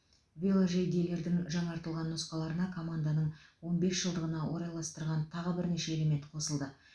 веложейделердің жаңартылған нұсқаларына команданың он бес жылдығына орайластырылған тағы бірнеше элемент қосылды